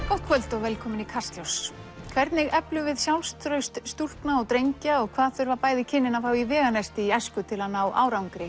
gott kvöld og velkomin í Kastljós hvernig eflum við sjálfstraust stúlkna og drengja og hvað þurfa bæði kynin að fá í veganesti í æsku til að ná árangri